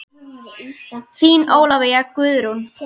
Þín Ólafía Guðrún.